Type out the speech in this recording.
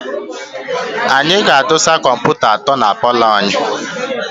Anyị ga-adọsa kọmputa atọ na paalọ anyị.